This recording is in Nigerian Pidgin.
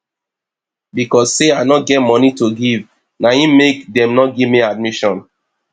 because sey i no get moni to give na im make dem no give me admission